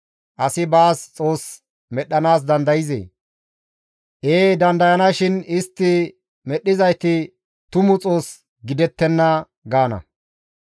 Asi baas xoos medhdhanaas dandayzee? Ee dandayanashin istti medhdhizayti tumu xoos gidettenna!» gaana.